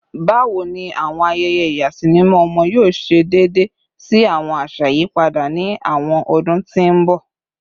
Bawo ni awọn ayẹyẹ ìyàsímímọ ọmọ yoo ṣe deede si awọn aṣa iyipada ni awọn ọdun ti n bọ?